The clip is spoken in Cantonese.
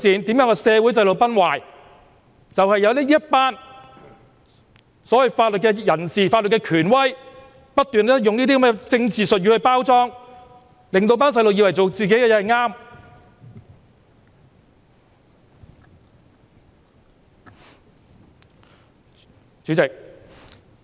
便是因為有這些所謂的法律人士、法律權威不斷用這些政治術語來作為包裝，令年輕人以為自己所做的事正確。